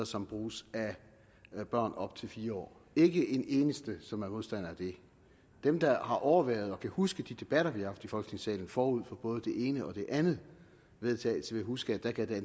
som bruges af børn op til fire år der ikke en eneste som er modstander af det dem der har overværet og kan huske de debatter vi har haft i folketingssalen forud for både den ene og den anden vedtagelse vil huske at der gav det